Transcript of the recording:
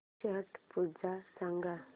छट पूजा सांग